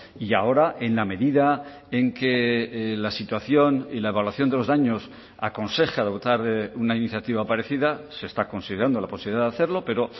y ahora en la medida en que la situación y la evaluación de los daños aconseja dotar de una iniciativa parecida se está considerando la posibilidad de hacerlo pero